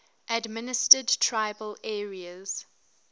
administered tribal areas